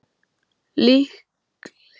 Líklega léti hann dragast að mjólka beljurnar.